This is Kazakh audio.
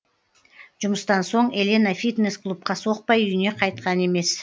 жұмыстан соң елена фитнес клубқа соқпай үйіне қайтқан емес